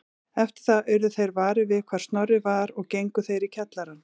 Eftir það urðu þeir varir við hvar Snorri var og gengu þeir í kjallarann